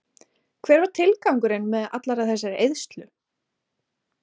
Hver var tilgangurinn með allri þessari eyðslu?